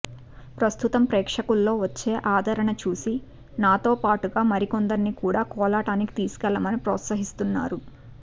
ప్రస్తుతం ప్రేక్షకుల్లో వచ్చే ఆదరణ చూసి నాతో పాటుగా మరికొందరిని కూడా కోలాటానికి తీసుకెళ్లమని ప్రోత్సహిస్తున్నారు